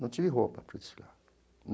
Não tive roupa para desfilar.